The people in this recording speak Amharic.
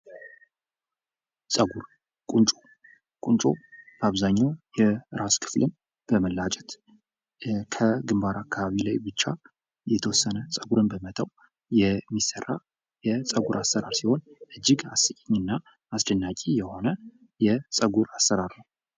ጸጉር፦ ቁንጮ፦ ቁንጮ አብዛኛውን የራስ ክፍል በመላጨት ከግንባር አካባቢ ላይ ብቻ የተወሰነ ጸጉርን በመተው የሚሰራ የጸጉር አይነት ነው።